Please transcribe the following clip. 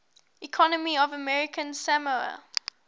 economy of american samoa